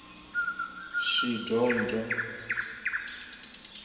shidondho